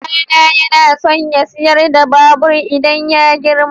Ɗana yana so ya sayar da babur idan ya girma.